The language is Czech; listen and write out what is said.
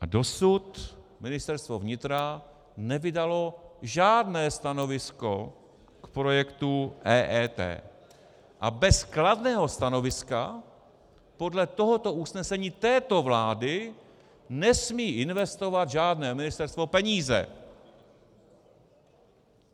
A dosud Ministerstvo vnitra nevydalo žádné stanovisko k projektu EET a bez kladného stanoviska podle tohoto usnesení této vlády nesmí investovat žádné ministerstvo peníze.